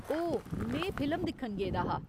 ओह्, में फिल्म दिक्खन गेदा हा।